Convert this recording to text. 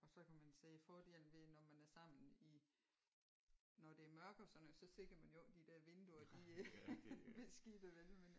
Og så kan man sige fordelen ved når man er sammen i når det er mørkt og sådan noget så ser man jo ikke at de der vinduer de er beskidte vel men